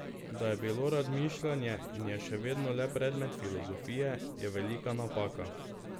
Da je bilo razmišljanje in je še vedno le predmet filozofije, je velika napaka.